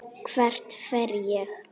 Hvert fer ég?